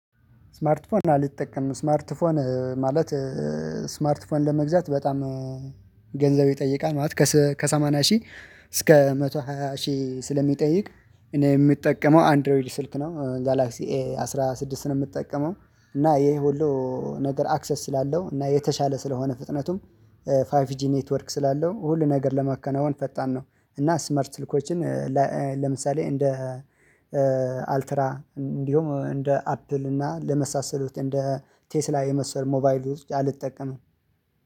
እስማርት ፎን አልጠቀምም፤ እስማርት ፎን ማለት እስማርት ፎን ለመግዛት በጣም ገንዘብ ይጠይቃል፤ ማለት ከሰማንያ ሺህ እስከ መቶ ሃያ ሺህ ስለሚጠይቅ የምጠቀመው አንድሮይድ ስልክ ነው። ጋላክሲ ኤ አስራ ስድስት ነው የምጠቀመው እና የሁሉ ነገር አክሰስ ስላለው እና የተሻለ ስለሆነ ፍጥነቱም ፋይፍ ጂ ኔትወርክ ስላለው ሁሉ ነገር ለማከናወን ፈጣን ነው እና እስማርት ስልኮችን ለምሳሌ እንደ አልትራ እንዲሁም እንደ አፕል እና ለመሳሰሉት እንደ ቴስላ የመሰሉ ሞባይል ውስጥ አልጠቀምም